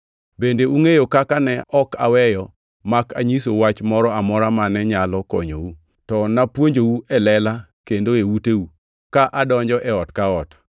Bende ungʼeyo kaka ne ok aweyo mak anyisou wach moro amora mane nyalo konyou, to napuonjou e lela kendo e uteu, ka adonjo e ot ka ot.